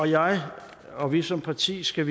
jeg og vi som parti skal